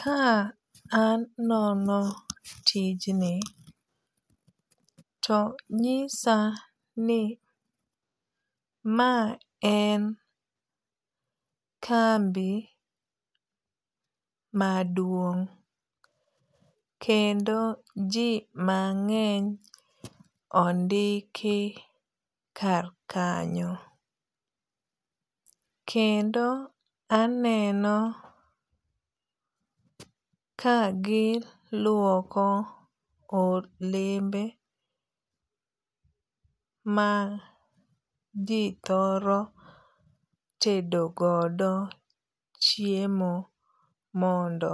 Ka anono tijni to nyisa ni ma en kambi maduong'. Kendo ji mang'eny ondiki kar kanyo. Kendo aneno ka giluoko olembe ma ji thoro tedogodo chiemo mondo